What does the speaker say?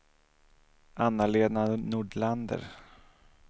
Anna-Lena Nordlander